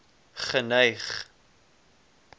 geneig